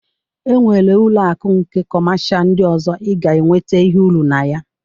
E nwere ụlọ akụ nke kọmasha ndị ọzọ ị ga-enwete ihe uru na ya